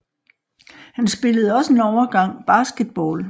Han spillede også en overgang basketball